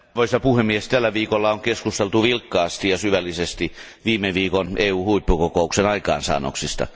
Arvoisa puhemies, tällä viikolla on keskusteltu vilkkaasti ja syvällisesti viime viikon EU huippukokouksen aikaansaannoksista.